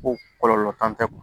Ko kɔlɔlɔ t'an fɛ